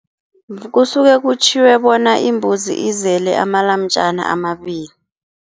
Kusuke kutjhiwe bona imbuzi izele amalamjana amabili.